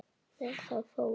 Með það fór hann.